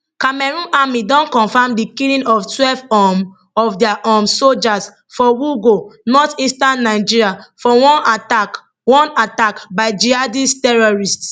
cameroon army don confam di killing of twelve um of dia um sojas for wulgo northeastern nigeria for one attack one attack by jihadist terrorists